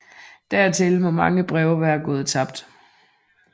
Dertil må mange breve være gået tabt